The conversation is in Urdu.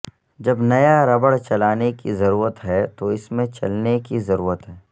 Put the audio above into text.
جب نیا ربڑ چلانے کی ضرورت ہے تو اس میں چلنے کی ضرورت ہے